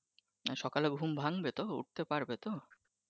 সকালে ঘুম ভাঙবে তো উঠতে পারবে তো?